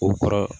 O kɔrɔ